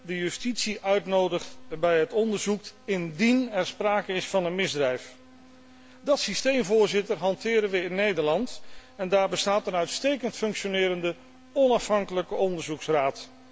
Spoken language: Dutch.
de justitie uitnodigt bij het onderzoek indien er sprake is van een misdrijf. Dat systeem hanteren wij in Nederland en daar bestaat een uitstekend functionerende, onafhankelijke onderzoeksraad.